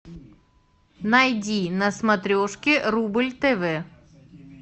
найди на смотрешке рубль тв